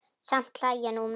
Samt hlæja nú menn.